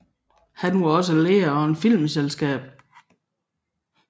Han var også leder af et filmselskab